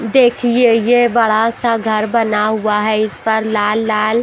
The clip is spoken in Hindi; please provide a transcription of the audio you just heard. देखिए यह बड़ा सा घर बना हुआ है इस पर लाल-लाल--